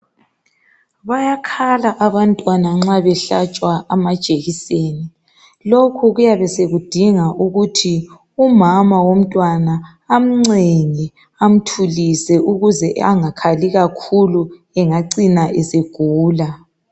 Bayakhala abantwana nxa behlatshwa amajekiseni .Lokhu kuyabe sokudinga ukuthi umama womntwana amncenge, amthulise ukuze angakhali kakhulu engacina esegula.